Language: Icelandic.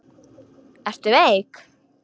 Ertu veik?